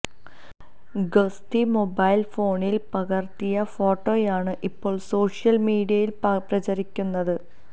ഗസ്തി mobile ഫോണില് പകര്ത്തിയ ഫോട്ടോയാണ് ഇപ്പോള് സോഷ്യല് മീഡിയയില് പ്രചരിക്കുന്നത്